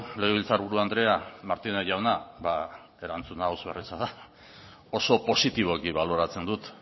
legebiltzarburu andrea martínez jauna bada erantzuna oso erraza da oso positiboki baloratzen dut